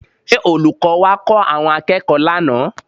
Ṣé olùkọ́ wá kọ́ àwọn akẹ́kọ̀ọ́ lánàá?